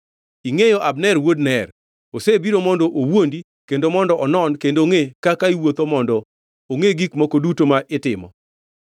Ingʼeyo Abner wuod Ner; osebiro mondo owuondi kendo mondo onon kendo ongʼe kaka iwuotho mondo ongʼe gik moko duto ma itimo.”